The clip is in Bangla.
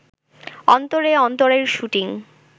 অন্তরে অন্তরের শুটিং